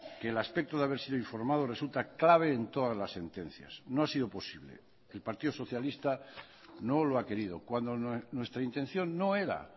que el aspecto de haber sido informado resulta clave en todas las sentencias no ha sido posible el partido socialista no lo ha querido cuando nuestra intención no era